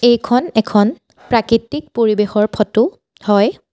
এইখন এখন প্ৰাকৃতিক পৰিৱেশৰ ফটো হয়।